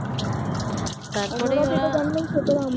ওরা যেটা জানবেন সেটাই হবে